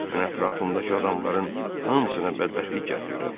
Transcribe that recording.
mən ətrafımdakı adamların hamısına bədbəxtlik gətirirəm.